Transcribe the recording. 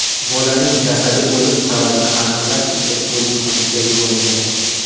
Bolaning jasadi o‘lim sababini aniqlash uchun o‘likxonaga yuborilgan.